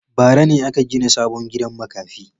Bara ne aka gina sabon gidan makafi.